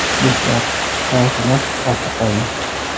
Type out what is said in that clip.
Do‘stlar, xavotirlar ortda qoldi!